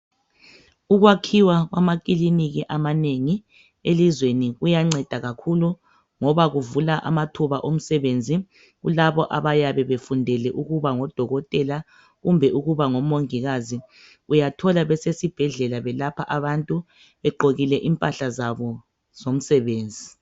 Ukwakhiwa kwamakiliniki amanengi elizweni kuyanceda kakhulu, ngoba kuvula amathuba omsebenzi kulabo ayabe befundele ukuba ngodokothela kumbe ukuba ngomongikazi. Uyathola besesibhedlela belapha abantu begqokekile impahla zabo zomsebenzi.